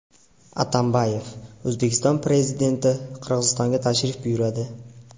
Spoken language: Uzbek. Atambayev: O‘zbekiston Prezidenti Qirg‘izistonga tashrif buyuradi .